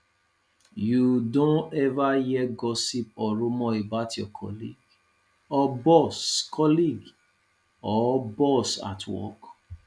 you don ever hear gossip or rumor about your colleague or boss colleague or boss at work